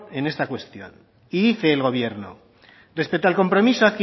en esta cuestión y dice el gobierno respecto al compromiso